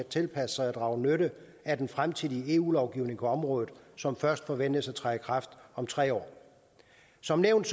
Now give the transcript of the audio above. tilpasse sig og drage nytte af den fremtidige eu lovgivning på området som først forventes at træde i kraft om tre år som nævnt